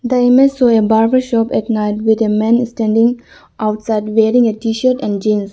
The image show a barber shop at night with a man standing outside wearing a tshirt and jeans.